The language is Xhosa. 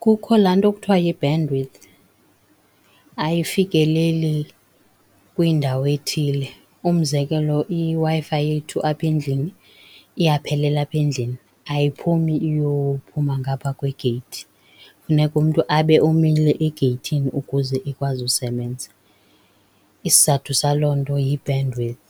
Kukho laa nto kuthiwa yi-bandwidth ayifikeleli kwindawo ethile, umzekelo iWi-Fi yethu apha endlini iyaphelela apha endlini, ayiphumi iyophuma ngapha kwegeyithi, funeka umntu abe umile egeyithini ukuze ikwazi usebenza. Isizathu saloo nto yi-bandwidth,